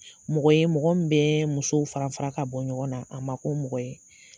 Mɔgɔ ye mɔgɔ min bɛɛ musow fara fara k'a bɔ ɲɔgɔn na, a ma ko mɔgɔ ye.